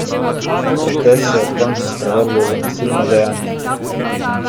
Protest se je ob koncu sprevrgel v nasilno divjanje.